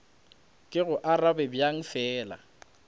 ke go arabe bjang fela